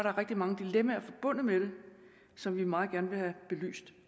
er rigtig mange dilemmaer forbundet med det som vi meget gerne vil have belyst